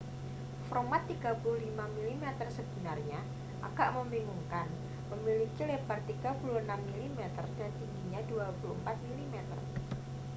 format 35 mm sebenarnya agak membingungkan memiliki lebar 36 mm dan tinggi 24 mm